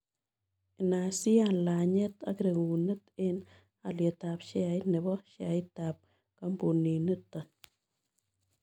Inaisiian laanyet ak regunet eng' alyetap sheait ne po sheaitap kampunin nito